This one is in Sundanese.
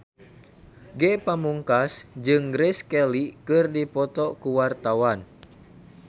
Ge Pamungkas jeung Grace Kelly keur dipoto ku wartawan